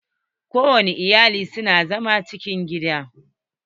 Ko wani iyali su na zama a cikin gida.